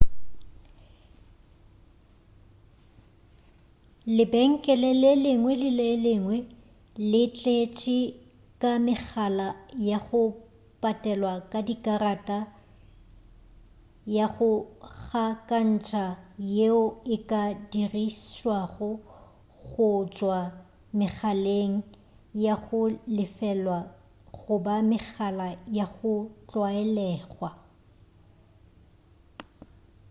lebenkele le lengwe le lengwe le tletše ka megala ya go patelwa ka dikarata ya go gakantša yeo e ka dirišwago go tšwa megaleng ya go lefelwa goba megala ya go tlwaelegwa